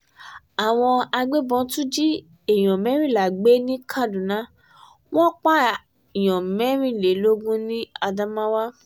àwọn agbébọn tún jí èèyàn mẹ́rìnlá gbé ní kaduna wọn pààyàn mẹ́rìnlélógún ni adamawa